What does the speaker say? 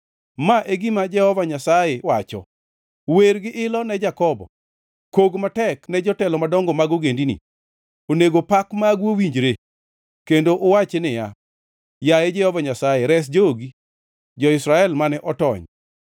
Ma e gima Jehova Nyasaye wacho: “Wer gi ilo ne Jakobo; kog matek ne jotelo madongo mag ogendini. Onego pak magu owinjre, kendo uwachi niya, ‘Yaye Jehova Nyasaye, res jogi, jo-Israel mane otony.’